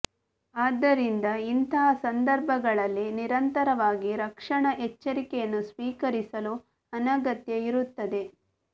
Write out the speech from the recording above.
ಆದ್ದರಿಂದ ಇಂತಹ ಸಂದರ್ಭಗಳಲ್ಲಿ ನಿರಂತರವಾಗಿ ರಕ್ಷಣಾ ಎಚ್ಚರಿಕೆಯನ್ನು ಸ್ವೀಕರಿಸಲು ಅನಗತ್ಯ ಇರುತ್ತದೆ